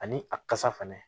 Ani a kasa fɛnɛ